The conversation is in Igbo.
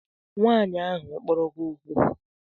Nwaanyi ahu okporo gi okwu?